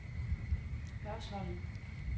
Hørsholm